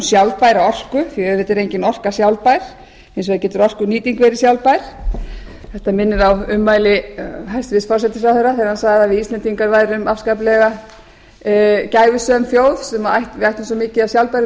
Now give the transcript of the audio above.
sjálfbæra orku því að auðvitað er engin orka sjálfbær hins vegar getur orkunýting verið sjálfbær þetta minnir á ummæli hæstvirts forsætisráðherra þegar hann sagði að við íslendingar værum afskaplega gæfusöm þjóð við ættum svo mikið af sjálfbærum